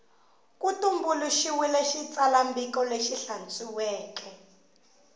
ku tumbuluxiwile xitsalwambiko lexi hlantswekeke